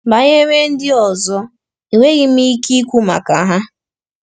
Banyere ndị ọzọ, enweghị m ike ikwu maka ha.